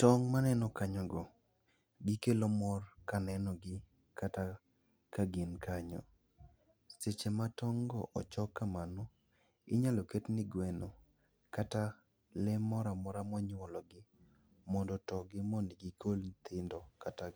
Tong' maneno kanyogo gikelo mor kaneno gi kata ka gin kanyo. Seche ma tong' go ochok kamano, inyalo ket ne gweno kata le moro amora monyuolo gi mondo oto gi mondo gikol nyithindo kata